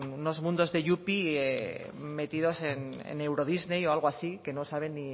unos mundos de yupi metidos en eurodisney o algo así que no saben